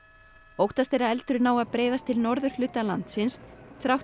óttast er að eldurinn nái að breiðast til norðurhluta landsins þrátt